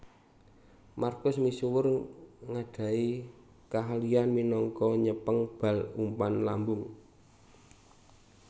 Markus misuwur ngadahi kaahlian minangka nyepeng bal umpan lambung